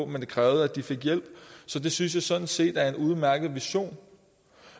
men det krævede at de fik hjælp så det synes jeg sådan set er en udmærket vision